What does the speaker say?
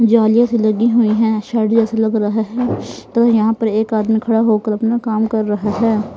जालिया से लगी हुई है शैटर जैसा लग रहा है तो यहां पर एक आदमी खड़ा होकर अपना काम कर रहा है.